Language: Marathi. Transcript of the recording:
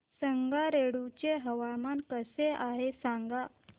संगारेड्डी चे हवामान कसे आहे सांगा